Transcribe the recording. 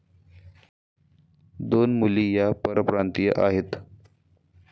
दोन मुली या परप्रांतीय आहेत.